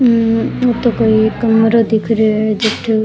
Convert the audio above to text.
हम्म ओ तो कोई कमरों दिख रियो है जटहू --